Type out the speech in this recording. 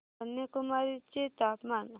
कन्याकुमारी चे तापमान